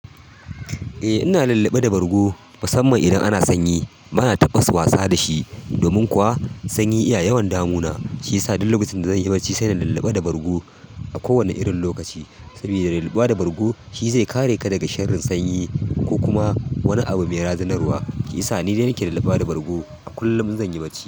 Eh ina lulluɓe da bargo musamman idan ana sanyi. Bana tabas wasa da shi domin kuwa sanyi iya yawan damuna, shi yasa duk lokacin da zan yi bacci sai ina lulluɓa da bargo a kowane irin lokaci. Saboda lulluɓuwa da bargo shi zai kare ka daga sharrin sanyi ko kuma wani abu mai razanarwa. Shi yasa ni dai nake lulluɓuwa da bargo a kullum in zan yi bacci.